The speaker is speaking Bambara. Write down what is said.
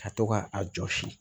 Ka to ka a jɔsi